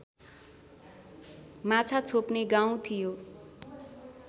माछा छोप्ने गाउँ थियो